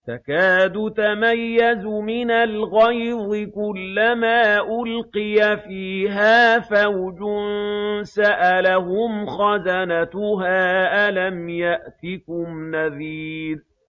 تَكَادُ تَمَيَّزُ مِنَ الْغَيْظِ ۖ كُلَّمَا أُلْقِيَ فِيهَا فَوْجٌ سَأَلَهُمْ خَزَنَتُهَا أَلَمْ يَأْتِكُمْ نَذِيرٌ